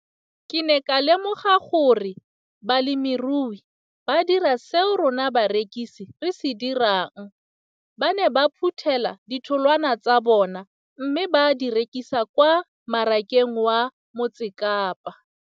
Ke ne ka lemoga gape gore balemirui ba dira seo rona barekisi re se dirang, ba ne ba phuthela ditholwana tsa bona mme ba di rekisa kwa marakeng wa Motsekapa.